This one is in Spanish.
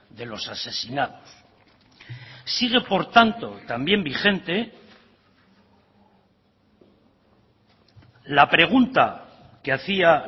de los asesinados sigue por tanto también vigente la pregunta que hacia